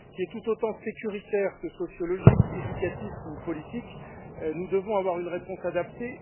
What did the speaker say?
tout autant sécuritaire que sociologique, éducatif ou politique, nous devons avoir une réponse adaptée.